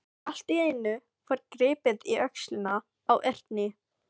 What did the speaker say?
Allt í einu var gripið í öxlina á Erni.